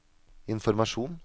informasjon